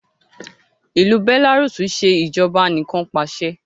ilú Belarus ṣe Ìṣèjọba Anìkanpàṣẹ